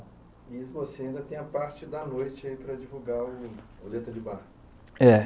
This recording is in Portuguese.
E você ainda tem a parte da noite aí para divulgar o Letra de Barra. É.